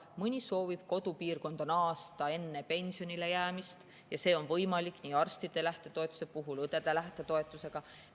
Mõni soovib enne pensionile jäämist kodupiirkonda naasta ja see on võimalik nii arstide kui ka õdede lähtetoetuse puhul.